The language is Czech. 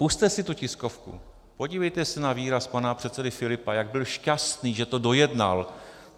Pusťte si tu tiskovku, podívejte se na výraz pana předsedy Filipa, jak byl šťastný, že to dojednal.